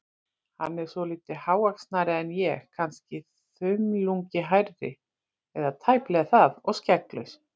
Hann er svolítið hávaxnari en ég- kannske þumlungi hærri, eða tæplega það, og skegglaus.